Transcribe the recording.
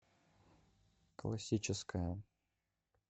классическая